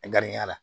Gariya la